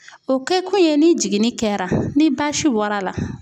O kɛ kun ye ni jiginni kɛra ni basi bɔrɔ a la